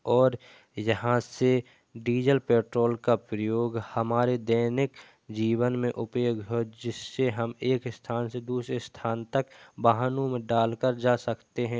और यहाँ से डीजल पेट्रोल का प्रयोग हमारे दैनिक जीवन में उपयोग हो जिससे हम एक स्थान से दूसरे स्थान तक वाहनों में डालकर जा सकते हैं।